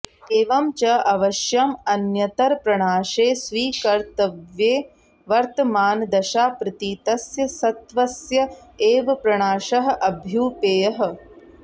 एवं च अवश्यं अन्यतरप्रणाशे स्वीकर्तव्ये वर्तमानदशाप्रतीतस्य सत्वस्य एव प्रणाशः अभ्युपेयः